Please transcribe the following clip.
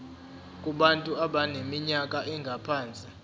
kubantu abaneminyaka engaphansi